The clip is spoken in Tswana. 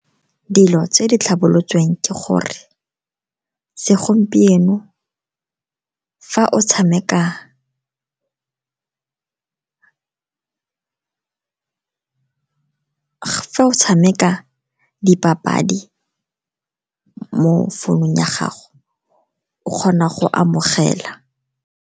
Dilo tse di tlhabolotsweng ke gore segompieno fa o tshameka dipapadi mo founung ya gago, o kgona go amogela.